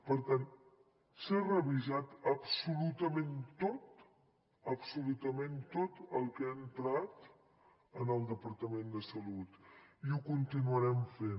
per tant s’ha revisat absolutament tot absolutament tot el que ha entrat al departament de salut i ho continuarem fent